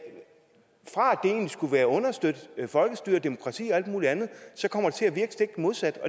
skulle understøtte folkestyre demokrati og al mulig andet så kommer til at virke stik modsat